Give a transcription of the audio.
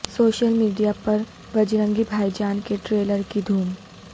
social media پر Bajrangi Bhaijaan کےٹریلر کی دھوم